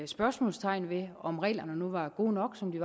spørgsmålstegn ved om reglerne nu er gode nok som de